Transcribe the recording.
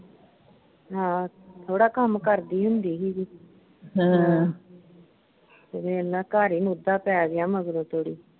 ਹਾਂ, ਥੋੜਾ ਕੰਮ ਕਰਦੀ ਹੁੰਦੀ ਹੀ ਤੇ ਵੇਖ ਲਾ ਘਰ ਹੀ ਮੂਧਾ ਪੈ ਗਿਆ ਮਗਰੋਂ